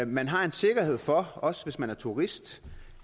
man har en sikkerhed for også hvis man er turist